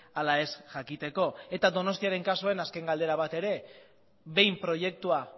ala ez jakiteko eta donostiaren kasuan azken galdera bat ere behin proiektua